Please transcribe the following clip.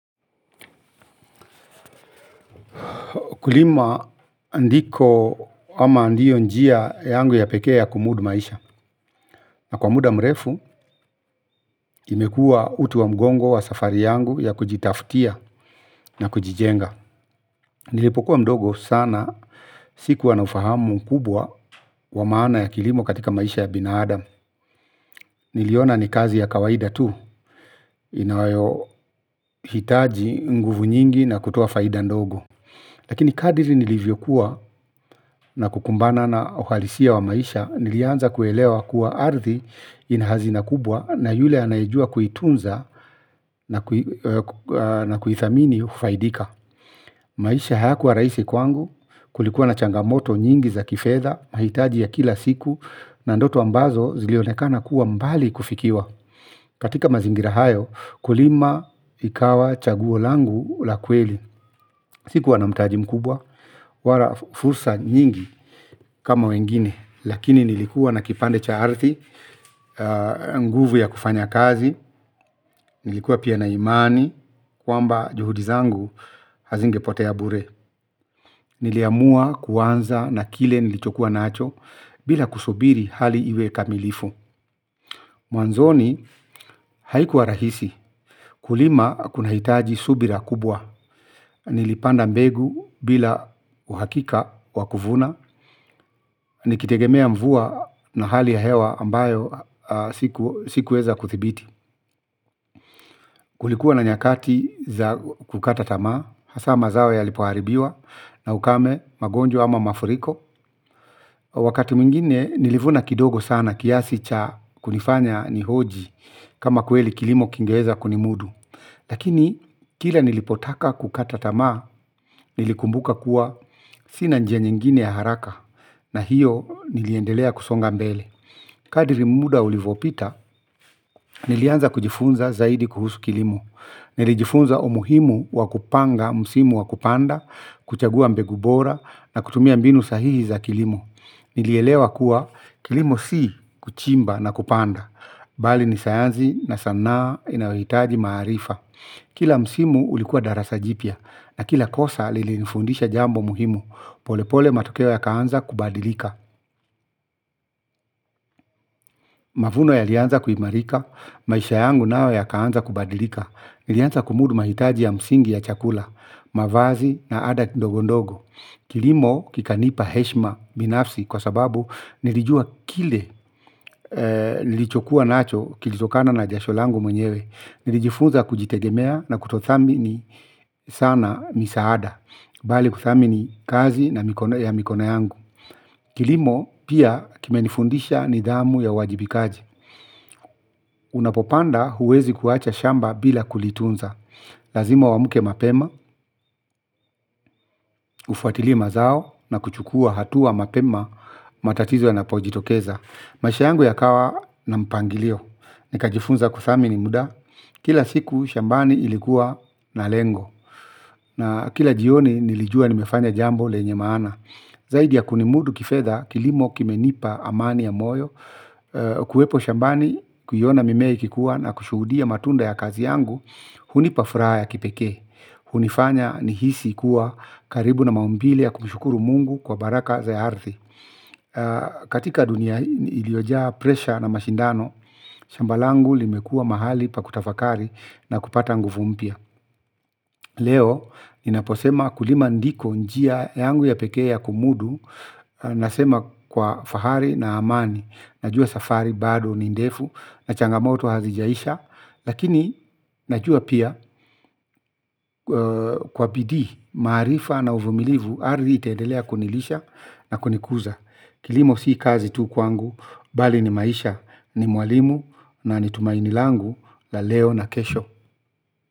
Kulima ndiko ama ndio njia yangu ya pekee ya kumudu maisha. Na kwa muda mrefu imekua utu wa mgongo wa safari yangu ya kujitaftia na kujijenga. Nilipokuwa mdogo sana sikuwa na ufahamu mkubwa wa maana ya kilimo katika maisha ya binaadam. Niliona ni kazi ya kawaida tu inawayohitaji nguvu nyingi na kutoa faida ndogo. Lakini kadiri nilivyokuwa na kukumbana na uhalisia wa maisha nilianza kuelewa kuwa ardhi ina hazina kubwa na yule anayejua kuitunza na kuithamini hufaidika. Maisha hayakuwa rahisi kwangu kulikuwa na changamoto nyingi za kifedha mahitaji ya kila siku na ndoto ambazo zilionekana kuwa mbali kufikiwa. Katika mazingira hayo kulima ikawa chaguo langu la kweli. Sikuwa na mtaji mkubwa wala fursa nyingi kama wengine. Lakini nilikuwa na kipande cha ardhi nguvu ya kufanya kazi nilikuwa pia na imani kwamba juhudi zangu hazingepotea bure. Niliamua kuanza na kile nilichokuwa nacho. Bila kusubiri hali iwe kamilifu. Mwanzoni haikuwa rahisi. Kulima kunahitaji subira kubwa, nilipanda mbegu bila uhakika wa kuvuna, nikitegemea mvua na hali ya hewa ambayo sikuweza kuthibiti. Kulikuwa na nyakati za kukata tama, hasa mazao yalipoharibiwa na ukame magonjwa ama mafuriko. Wakati mwingine nilivuna kidogo sana kiasi cha kunifanya nihoji kama kweli kilimo kingeweza kunimudu. Lakini kila nilipotaka kukata tamaa nilikumbuka kuwa sina njia nyingine ya haraka na hiyo niliendelea kusonga mbele. Kadiri muda ulivopita nilianza kujifunza zaidi kuhusu kilimo. Nilijifunza umuhimu wa kupanga msimu wa kupanda, kuchagua mbegu bora na kutumia mbinu sahihi za kilimo. Nilielewa kuwa kilimo si kuchimba na kupanda bali ni sayanzi na sanaa inayoitaji maarifa. Kila msimu ulikuwa darasa jipya na kila kosa lilinifundisha jambo muhimu. Polepole matokeo yakaanza kubadilika. Mavuno yalianza kuimarika, maisha yangu nao yakaanza kubadilika. Nilianza kumudu mahitaji ya msingi ya chakula, mavazi na ada ndogo ndogo. Kilimo kikanipa heshima binafsi kwa sababu nilijua kile nilichokuwa nacho kilitokana na jasho langu mwenyewe. Nijifunza kujitegemea na kutothamini sana misaada bali kuthamini kazi na mikono yangu. Kilimo pia kimenifundisha nidhamu ya uajibikaji. Unapopanda huwezi kuacha shamba bila kulitunza. Lazima uamuke mapema, ufuatilie mazao na kuchukua hatua mapema matatizo yanapojitokeza. Masha yangu yakawa na mpangilio. Nikajifunza kuthamini muda. Kila siku shambani ilikuwa na lengo. Na kila jioni nilijua nimefanya jambo lenye maana. Zaidi ya kunimudu kifedha kilimo kimenipa amani ya moyo. Kuwepo shambani kuiona mimea ikikuwa na kushuhudia matunda ya kazi yangu hunipa furaha ya kipeke. Hunifanya nihisi kuwa karibu na maumbilime ya kumshukuru mungu kwa baraka za ardhi. Katika dunia iliojaa presha na mashindano shamba langu limekua mahali pa kutafakari na kupata nguvu mpya. Leo, ninaposema kulima ndiko njia yangu ya peke ya kumudu, nasema kwa fahari na amani, najua safari bado ni ndefu, na changamoto hazijaisha, lakini najua pia kwa bidii, maarifa na uvumilivu, ardhi itaedelea kunilisha na kunikuza. Kilimo si kazi tu kwangu, bali ni maisha, ni mwalimu, na ni tumaini langu, la leo na kesho.